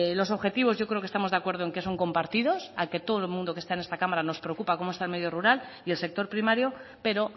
los objetivos yo creo que estamos de acuerdo en que son compartidos al que todo el mundo que está en esta cámara nos preocupa cómo está el medio rural y el sector primario pero